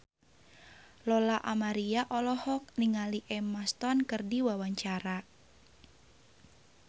Lola Amaria olohok ningali Emma Stone keur diwawancara